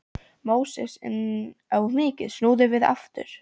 Móses, enn of mikið, snúðu við aftur.